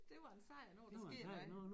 Det var en sejr når der sker noget